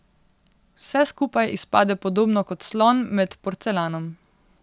Vse skupaj izpade podobno kot slon med porcelanom.